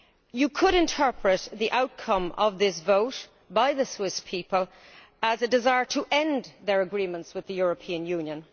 You could interpret the outcome of this vote by the Swiss people as a desire to end their agreements with the European Union.